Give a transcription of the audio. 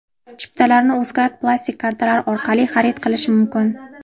Chiptalarni Uzkard plastik kartalari orqali xarid qilish mumkin.